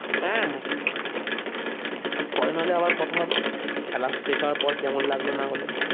হ্যাঁ হ্যাঁ পরে নাহলে আবার কথা হবে খেলা শেষ হওয়ার পর কেমন লাগলো না লাগলো